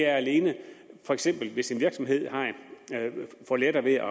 alene for eksempel er hvis en virksomhed får lettere ved